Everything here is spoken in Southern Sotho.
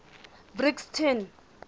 brixton